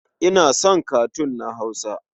Ina son katun na Hausa.